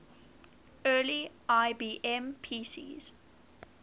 early ibm pcs